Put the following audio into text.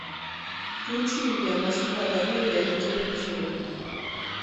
включи мне москва доверия на телевизоре